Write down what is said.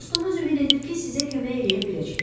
Dostumuz ümid edir ki, sizə kömək eləyə biləcək.